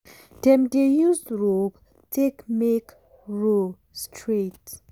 dem dey use rope take make row straight.